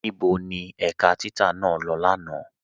Níbo ni ẹ̀ká títà naa lọ́ lánà?